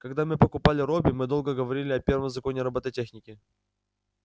когда мы покупали робби мы долго говорили о первом законе робототехники